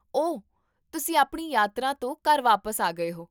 ਓ, ਤੁਸੀਂ ਆਪਣੀ ਯਾਤਰਾ ਤੋਂ ਘਰ ਵਾਪਸ ਆ ਗਏ ਹੋ?